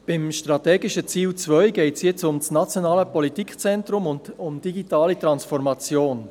Beim strategischen Ziel 2 geht es jetzt um das nationale Politikzentrum und um die digitale Transformation.